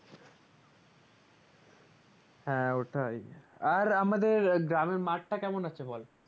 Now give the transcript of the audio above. হ্যাঁ ওটাই আর আমাদের গ্রামের মাঠ টা কেমন আছে বল?